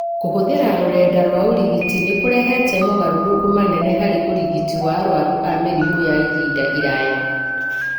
Kũhũthĩra rũrenda rwa ũrigiti nĩ kũrehete mogarũrũku manene harĩ ũrigiti wa arũaru a mĩrimũ ya ihinda iraya.